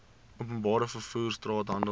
openbare vervoer straathandel